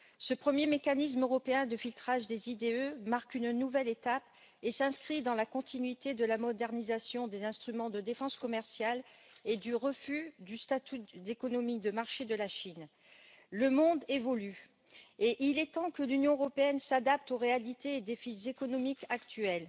Ce premier mécanisme européen de filtrage des IDE marque une nouvelle étape et s'inscrit dans la continuité de la modernisation des instruments de défense commerciale et du refus du statut d'économie de marché de la Chine. Le monde évolue et il est temps que l'Union européenne s'adapte aux réalités des défis économiques actuels.